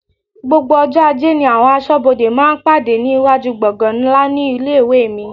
Gbogbo ọjọ́ ajé ni àwọn aṣọ́bodè máa ń pàdé ní iwájú gbọ̀ngan ńlá ní ilé-ìwé mi.